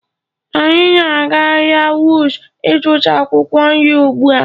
Anyị na-aga ahịa Wuse ịzụta akwụkwọ nri ugbu a.